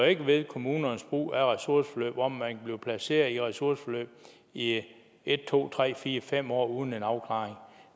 ændrer ved kommunernes brug af ressourceforløb hvor man blive placeret i ressourceforløb i en to tre fire fem år uden en afklaring